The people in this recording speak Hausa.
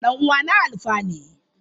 Dan uwana Alfa ne.